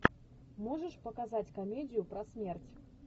можешь показать комедию про смерть